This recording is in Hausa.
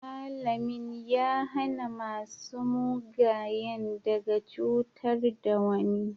malamin ya hana masu mugayen daga cutar da wani